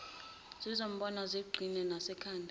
ngizombona ngiqhine nasekhanda